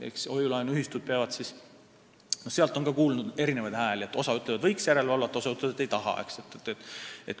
Eks hoiu-laenuühistute poole pealt on kuulda igasugu hääli – osa ütleb, et võiks järelevalvet teha, osa ütleb, et ei taha seda.